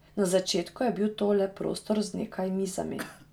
Na začetku je bil to le prostor z nekaj mizami.